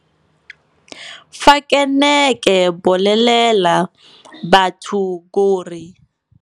Fa ke ne ke bolelela batho gore.